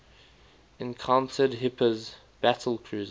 encountered hipper's battlecruiser